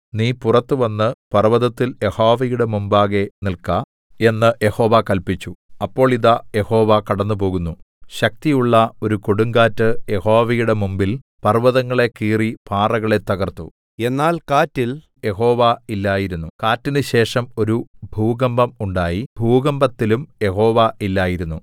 നീ പുറത്തുവന്ന് പർവ്വതത്തിൽ യഹോവയുടെ മുമ്പാകെ നില്ക്ക എന്ന് യഹോവ കല്പിച്ചു അപ്പോൾ ഇതാ യഹോവ കടന്നുപോകുന്നു ശക്തിയുള്ള ഒരു കൊടുങ്കാറ്റ് യഹോവയുടെ മുമ്പിൽ പർവ്വതങ്ങളെ കീറി പാറകളെ തകർത്തു എന്നാൽ കാറ്റിൽ യഹോവ ഇല്ലായിരുന്നു കാറ്റിന് ശേഷം ഒരു ഭൂകമ്പം ഉണ്ടായി ഭൂകമ്പത്തിലും യഹോവ ഇല്ലായിരുന്നു